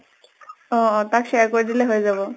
অʼ অʼ তাক share কৰি দিলে হৈ যাব।